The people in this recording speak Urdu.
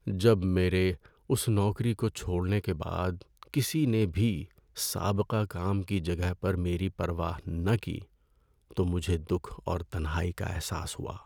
جب میرے اس نوکری چھوڑنے کے بعد کسی نے بھی سابقہ کام کی جگہ پر میری پرواہ نہ کی تو مجھے دکھ اور تنہائی کا احساس ہوا۔